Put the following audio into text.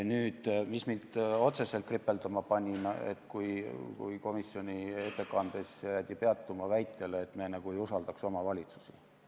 Otseselt jäi kripeldama, et komisjoni ettekandes jäädi peatuma väitele, nagu me ei usaldaks omavalitsusi.